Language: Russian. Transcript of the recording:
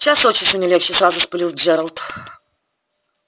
час от часу не легче сразу вспылил джералд